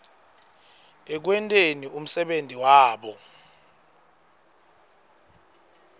ekwenteni umsebenti wabo